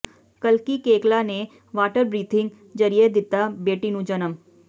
ਕਲਕੀ Koechlin ਨੇ water birthing ਜ਼ਰੀਏ ਦਿੱਤਾ ਬੇਟੀ ਨੂੰ ਜਨਮ